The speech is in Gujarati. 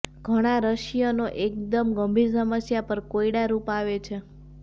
ઘણા રશિયનો એકદમ ગંભીર સમસ્યા પર કોયડારૂપ આવે છે